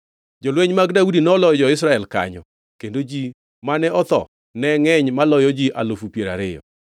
Jolwenj mag Daudi noloyo jo-Israel kanyo, kendo ji mane otho ne ngʼeny maloyo ji alufu piero ariyo.